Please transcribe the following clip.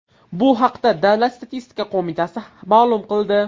Bu haqda Davlat statistika qo‘mitasi ma’lum qildi .